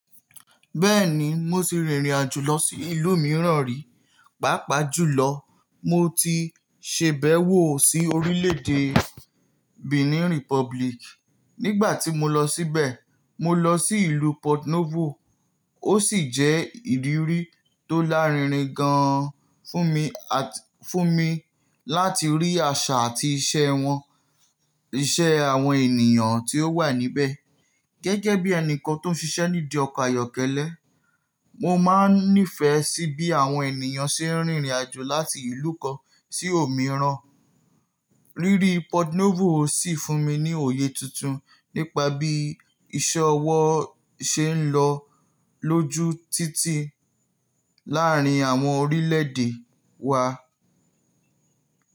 Bẹ́ẹ̀ni, mo ti rìnrìn àjò lọ sí ìlú mìíràn rí, pàápàá jùlọ mo ti ṣèbẹ̀wò sí orílẹ̀-èdè Benin Republic. Nígbà tí mo lọ síbẹ̀, mo lọ sí ìlú Porto Novo ó sì jẹ́ ìrírí tó lárinrin gan-an fún mi, fún mi láti rí àṣà àti ìṣe wọn, ìṣe àwọn ènìyàn tí ó wà níbẹ̀. Gẹ́gẹ́ bí ẹnìkan tó ń ṣiṣẹ́ nídi ọkọ̀ ayọ́kẹ́lẹ́, mo máa ń nífẹ̀ẹ́ sí bí àwọn ènìyàn ṣe ń rìnrìn àjò láti ìlú kan sí òmíràn. Rírí Porto Novo sì fún mi ní òye tuntun nípa bí ìṣe ọwọ́ ṣe ń lọ lójú títì láàárín àwọn orílẹ̀-èdè wa.